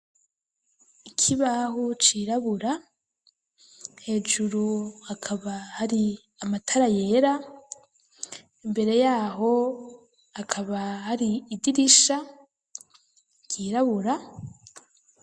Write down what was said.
Ikibaho cirabura, hejuru hakaba hari amatara yera, imbere yaho hakaba hari idirisha ryirabura